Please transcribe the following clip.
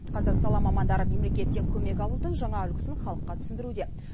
қазір сала мамандары мемлекеттен көмек алудың жаңа үлгісін халыққа түсіндіруде